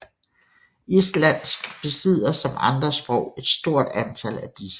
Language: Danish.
Islandsk besidder som andre sprog et stort antal af disse